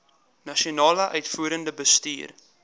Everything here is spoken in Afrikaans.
nasionale uitvoerende bestuur